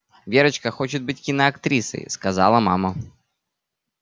верочка хочет быть киноактрисой сказала мама